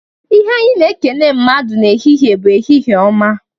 Ihe anyị na-ekene mmadụ n'ehihie bụ, "Ehihie ọma!"